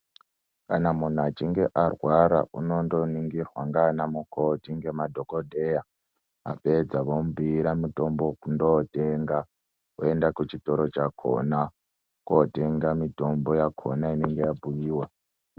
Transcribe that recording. Kana muntu achinge arwara unondoningirwa ngaana mukoti nemadhokodheya vapedza vomubhuira mutombo wekundotenga oenda kuchitoro chakona kotenga mitombo yakona inenge yabhuyiwa.